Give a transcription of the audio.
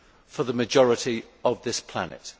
for the majority of this planet?